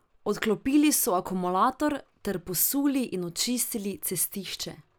Odklopili so akumulator ter posuli in očistili cestišče.